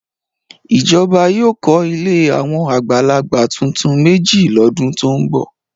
Ìjọba yóò kọ́ ilé àwọn àgbàlagbà tuntun méjì lọ́dún tó ń bọ̀.